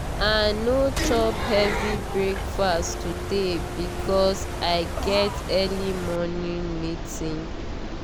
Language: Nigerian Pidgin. i no chop heavy breakfast today because i get early morning meeting.